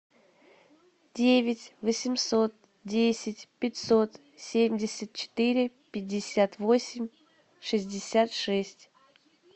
девять восемьсот десять пятьсот семьдесят четыре пятьдесят восемь шестьдесят шесть